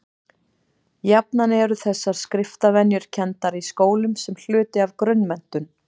jafnan eru þessar skriftarvenjur kenndar í skólum sem hluti af grunnmenntun